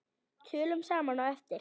Tölum saman á eftir.